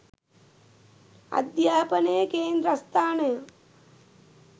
අධ්‍යාපනයේ කේන්ද්‍රස්ථානය